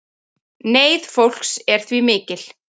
Neyð fólks er því mikil